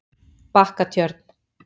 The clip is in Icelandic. Bakkatjörn